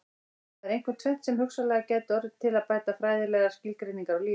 Það er einkum tvennt sem hugsanlega gæti orðið til að bæta fræðilegar skilgreiningar á lífi.